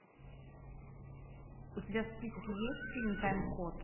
у тебя в списке есть фильм тайм код